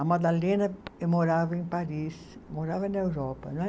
A Madalena morava em Paris, morava na Europa, não é